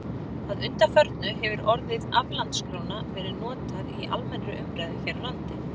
Að undanförnu hefur orðið aflandskróna verið notað í almennri umræðu hér á landi.